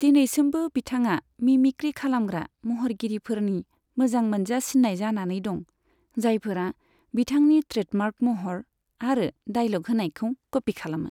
दिनैसिमबो बिथाङा मिमिक्री खालामग्रा महरगिरिफोरनि मोजां मोनजासिन्नाय जानानै दं, जायफोरा बिथांनि ट्रेडमार्क महर आरो डायलग होनायखौ कपी खालामो।